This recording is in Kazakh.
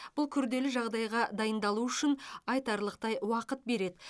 бұл күрделі жағдайға дайындалу үшін айтарлықтай уақыт береді